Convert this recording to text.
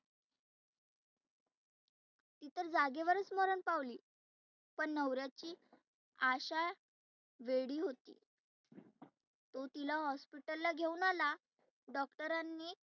ती तर जागेवरच मरन पावली. पण नवर्याची आशा वेडी होती. तो तीला hospital ला घेऊन आला doctor नी